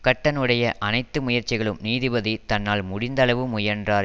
கட்டனுடைய அனைத்து முயற்சிகளும் நீதிபதி தன்னால் முடிந்த அளவு முயன்றார்